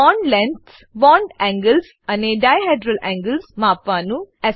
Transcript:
bond lengths bond angles અને dihedral angles માપવાનું